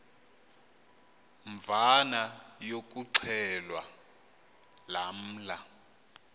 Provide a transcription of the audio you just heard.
mvana yokuxhelwa lamla